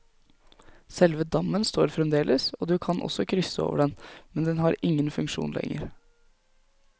Selve dammen står fremdeles, og du kan også krysse over den, men den har ingen funksjon lenger.